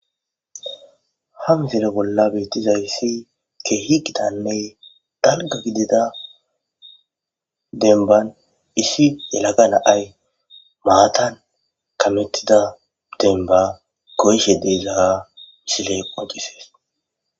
Ha missile bola betizqyisi kehi gitanne dalgga gidida demmban issi yelaga na'ayi matan kammetida demmba goyishe diza missile qonccisses.